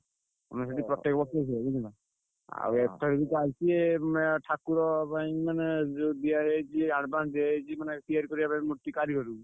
ଆମେ ସେଠି ପ୍ରତ୍ୟକ ହୁଏ ବୁଝିଲ। ଆଉ ଏଥର ବି ଚାଲଚି ଏଁ ମେ ଠାକୁର ପାଇଁ ମାନେ ଯୋଉ ଦିଆ ହେଇଯାଇଚି advance ଦିଆହେଇଯାଇଛି ମାନେ ତିଆରି କରିବା ପାଇଁ କିଛି କାରୀଗରଙ୍କୁ।